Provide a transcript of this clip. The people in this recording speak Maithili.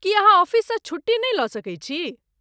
की अहाँ ऑफिससँ छुट्टी नहि लऽ सकै छी?